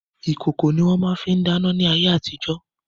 Ìkòkò ni wọ́n fi máa ń dáná ní ayé àtijo.